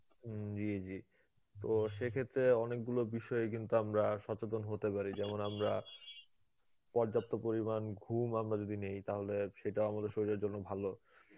হম জী জী তো সেক্ষেত্রে অনেকগুলো বিষয়ে কিন্তু আমরা সচেতন হতে পারি যেমন আমরা পর্যাপ্ত পরিমান ঘুম আমরা যদি নেই তাহলে সেটাও আমাদের শরীরের জন্যে ভালো.